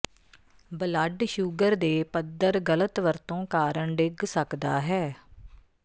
blood sugar ਦੇ ਪੱਧਰ ਗ਼ਲਤ ਵਰਤੋ ਕਾਰਨ ਡਿੱਗ ਸਕਦਾ ਹੈ